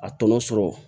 A tɔnɔ sɔrɔ